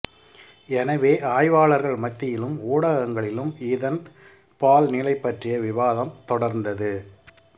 எனவே ஆய்வாளர்கள் மத்தியிலும் ஊடகங்களிலும் இதன் பால்நிலை பற்றிய விவாதம் தொடர்ந்தது